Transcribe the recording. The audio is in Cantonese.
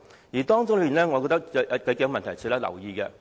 關於這點，我覺得有數個問題值得留意。